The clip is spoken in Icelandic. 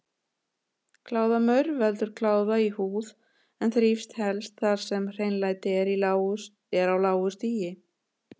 Kláðamaur veldur kláða í húð en þrífst helst þar sem hreinlæti er á lágu stigi.